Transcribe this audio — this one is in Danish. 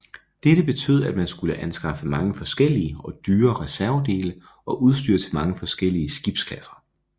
Dette betød at man skulle anskaffe mange forskellige og dyre reservedele og udstyr til mange forskellige skibsklasser